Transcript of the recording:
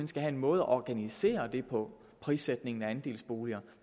skal have en måde at organisere prissætningen af andelsboliger